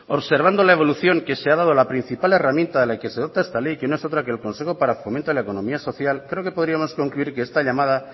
observando la evolución que se ha dado a la principal herramienta del que se dota esta ley que no es otra que el consejo para el fomento de la economía social creo que podríamos concluir que esta llamada